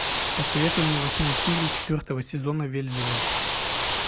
посоветуй мне восьмую серию четвертого сезона вельзевул